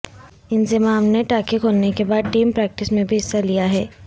انضمام نے ٹانکے کھلنے کے بعد ٹیم پریکٹس میں بھی حصہ لیا ہے